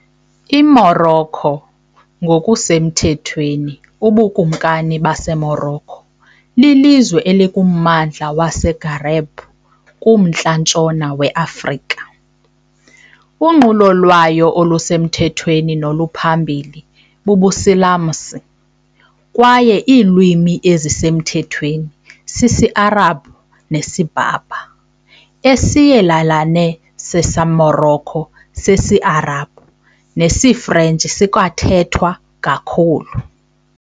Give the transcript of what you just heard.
IMorocco, ngokusemthethweni uBukumkani baseMorocco, lilizwe elikummandla waseMaghreb kuMntla-ntshona weAfrika. Unqulo lwayo olusemthethweni noluphambili bubuSilamsi, kwaye iilwimi ezisemthethweni sisiArabhu nesiBerber, Isiyelelane saseMorocco sesiArabhu nesiFrentshi sikwathethwa kakhulu.